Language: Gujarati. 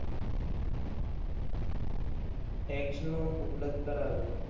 ટેક્સનો ઉપલબ્ધ કરાયો.